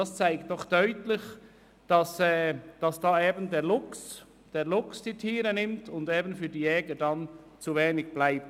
Das zeigt deutlich, dass der Luchs die Tiere dezimiert und für die Jagd in der Folge zu wenige Tiere verbleiben.